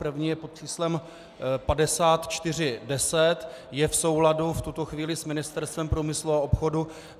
První je pod číslem 5410, je v souladu v tuto chvíli s Ministerstvem průmyslu a obchodu.